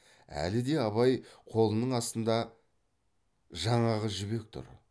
әлі де абай қолының астында жаңағы жібек тұр